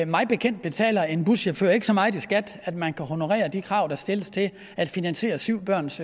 mig bekendt betaler en buschauffør ikke så meget i skat at man kan honorere de krav der stilles til at finansiere syv børns